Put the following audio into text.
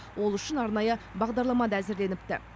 ол үшін арнайы бағдарлама да әзірленіпті